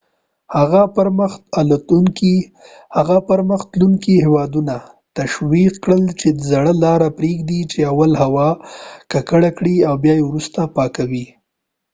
هغه پرمخ تلونکي هیوادونه تشویق کړل چې زړه لاره پریږدي چې اول هوا ککړه کړي او بیا یې وروسته پاکوي